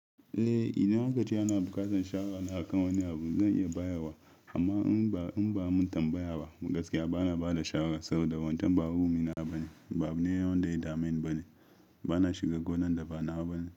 Eh, idan aka ce ana bukatan shawara na akan wani abu zan iya bayarwa amma in ba'a mun tambaya ba gaskiya ba na ba da shawara saboda wantan ba hurumina bane, ba abu ne wanda yada meni bane. Ba na shiga gonan da ba nawa bane.